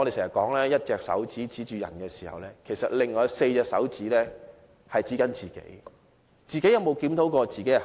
常言道，用1隻手指指着別人時，另外4隻手指是指着自己。